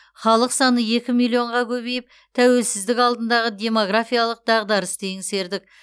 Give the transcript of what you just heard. халық саны екі миллионға көбейіп тәуелсіздік алдындағы демографиялық дағдарысты еңсердік